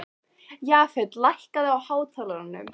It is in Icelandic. Jafet, lækkaðu í hátalaranum.